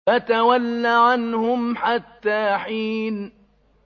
فَتَوَلَّ عَنْهُمْ حَتَّىٰ حِينٍ